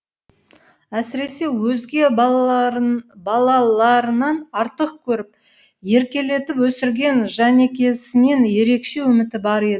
әсіресе өзге балаларынан артық көріп еркелетіп өсірген жәнекесінен ерекше үміті бар еді